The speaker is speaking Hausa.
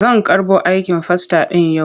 Zan karɓo aikin fasta ɗin yau.